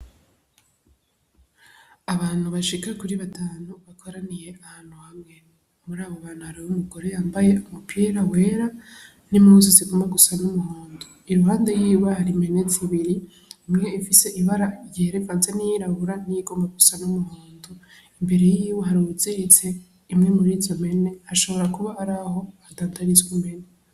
Abantu bashika kuri batanu bakoraniye ahantu hamwe muri abo bantu hariho umugore yambaye mupira wera n'impuzu zigomba gusa n'umuhondo, iruhande yiwe hari impene zibiri imwe ifise ibara yera ivanze n'iyirabura niyigomba gusa n'umuhondo, imbere yiwe hari uwuziritse imwe murizo mpene hashobora kuba araho hadandarizwa impene.